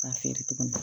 K'a feere tuguni